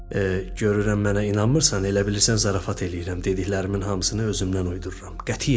Görürəm mənə inanmırsan, elə bilirsən zarafat eləyirəm, dediklərimin hamısını özümdən uydururam.